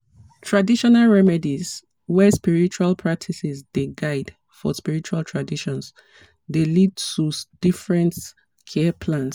traditional remedies wey spiritual practices dey guide for spiritual traditions dey lead to different care plans.